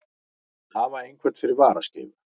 Að hafa einhvern fyrir varaskeifu